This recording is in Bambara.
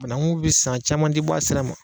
Banagu bi san a caman ti bɔ a sira ma